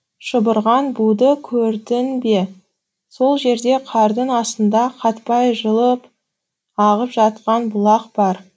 шұбырған буды көрдің бе сол жерде қардың астында қатпай жылып ағып жатқан бұлақ бар